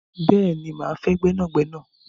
Rara, máa fẹ́ gbẹ́nàgnẹ́nà